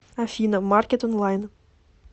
афина маркет онлайн